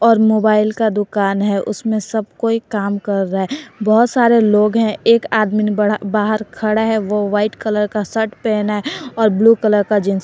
और मोबाईल का दुकान है उसमे सब कोई काम कर रहा है बहोत सारे लोग है एक आदमीन बड़ा बाहर खड़ा है वो व्हाइट कलर का शर्ट पहना है और ब्लू कलर का जींस--